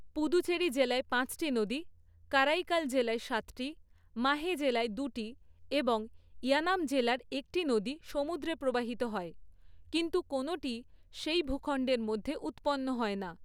পুদুচেরি জেলায় পাঁচটি নদী, কারাইকাল জেলায় সাতটি, মাহে জেলায় দুটি এবং ইয়ানাম জেলার একটি নদী সমুদ্রে প্রবাহিত হয়, কিন্তু কোনোটিই সেই ভূখণ্ডের মধ্যে উৎপন্ন হয় না।